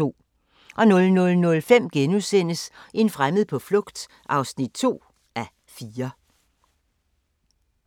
00:05: En fremmed på flugt (2:4)*